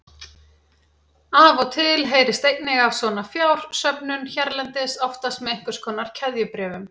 Af og til heyrist einnig af svona fjársöfnun hérlendis, oftast með einhvers konar keðjubréfum.